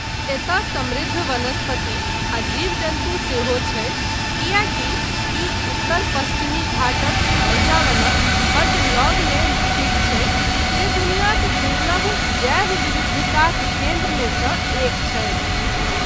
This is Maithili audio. एतय समृद्ध वनस्पति आ जीव जन्तु सेहो छै, कियैकि ई उत्तर पश्चिमी घाटक वर्षावनक बड्ड लगमे स्थित छै, जे दुनियाक दुर्लभ जैव विविधताक केन्द्रमे सऽ एक छै।